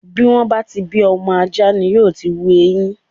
Bí wọ́n bá ti bí ọmọ ajá ni yóò ti hu eyin.